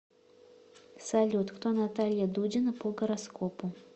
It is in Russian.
салют кто наталья дудина по гороскопу